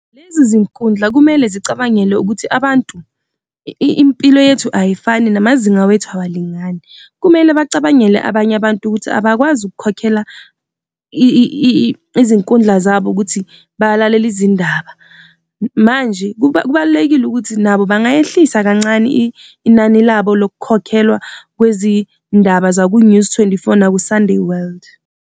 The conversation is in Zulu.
Lezi zinkundla kumele zicabangele ukuthi abantu, impilo yethu ayifani namazinga wethu awalingani. Kumele bacabangele abanye abantu ukuthi abakwazi ukukhokhela izinkundla zabo ukuthi balalele izindaba. Manje kubalulekile ukuthi nabo bangayehlisa kancane inani labo lokukhokhelwa kwezindaba zaku-News twenty-four naku-Sunday World.